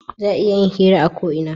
Za a iya yin hira a ko ina